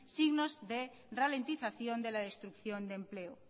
signos de ralentización de la destrucción de empleo